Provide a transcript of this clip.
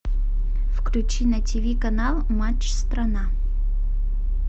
включи на тв канал матч страна